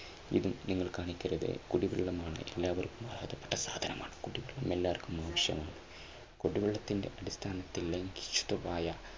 എതിർപ്പ് നിങ്ങൾ കാണിക്കരുത് കുടിവെള്ളമാണ് എല്ലാവർക്കും അർഹതപ്പെട്ട സാധനമാണ് കുടിവെള്ളം. എല്ലാവർക്കും ആവശ്യമാണ് കുടിവെള്ളത്തിന്റെ അടിസ്ഥാനത്തിൽ